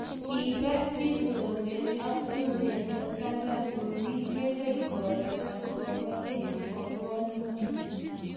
Kiba kipsoiywet ak subendo taban olin ye kingopata kokotiet kokol ngweny